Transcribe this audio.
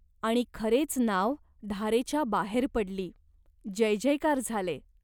आणि खरेच नाव धारेच्या बाहेर पडली. जयजयकार झाले.